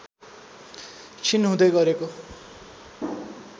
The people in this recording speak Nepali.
क्षीण हुँदै गरेको